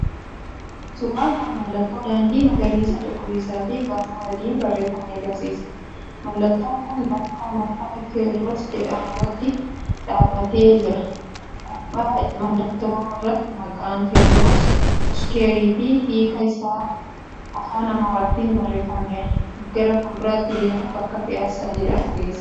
1.Suuraan kun mallattoo daandii magariisa cuquliisaa fi barruu adiin barreeffame agarsiisa. 2.Mallattoon kun bakka marfata Tewodros jedhamu irratti dhaabbatee jira. 3.Gubbaa mallattoo irratti maqaan “TEWODROS SQUARE” fi hiika isaa Afaan Amaaraatiin barreeffameera. 4.Gara fuulduraatti deemuun bakka “PIASSA” jedhamu geessa.